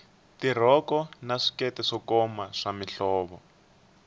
tirhoko na swikete swo koma swa mihlovo